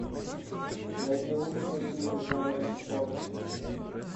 найди лучшие фильмы жанра спорт